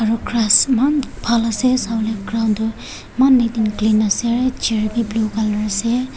Aro grass maan bhal ase sawole ground tu maan neat and clean ase chair bi blue colour ase.